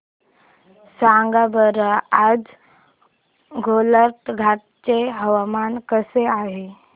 सांगा बरं आज गोलाघाट चे हवामान कसे आहे